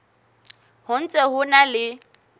ho ntse ho na le